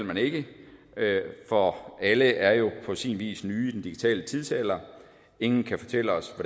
man ikke kan for alle er jo på sin vis nye i den digitale tidsalder ingen kan fortælle os